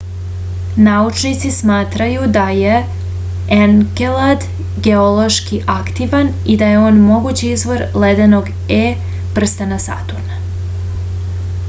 naučnici smatraju da je enkelad geološki aktivan i da je on mogući izvor ledenog e prstena saturna